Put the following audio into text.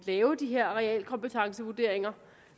lave de her realkompetencevurderinger